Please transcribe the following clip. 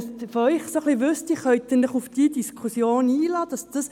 Es wäre sinnvoll, von Ihnen zu wissen, ob Sie sich auf diese Diskussion einlassen können.